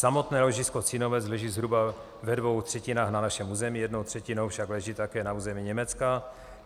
Samotné ložisko Cínovec leží zhruba ve dvou třetinách na našem území, jednou třetinou však leží také na území Německa.